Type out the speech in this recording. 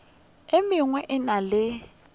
e mengwe e na le